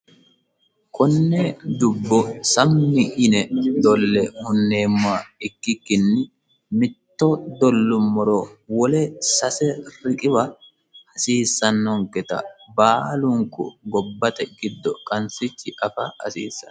Konne dubbo sammi yine dolle hunneemoha ikkikkini mitto dollumoro wole sase riqiwa hasiissanonketa baalunku gobbate giddo qansichi afa hasiissano.